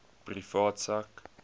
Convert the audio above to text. privaat sak